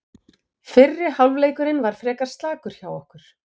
Fyrri hálfleikurinn var frekar slakur hjá okkur.